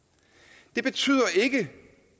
det betyder ikke